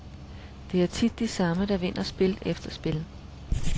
Det er tit de samme, der vinder spil efter spil.